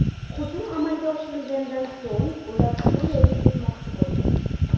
Hujum amalga oshirilgandan so‘ng, ular Suriyaga ketmoqchi bo‘lgan.